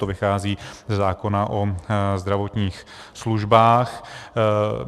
To vychází ze zákona o zdravotních službách.